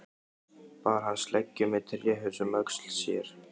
Bar hann sleggju með tréhaus um öxl sér.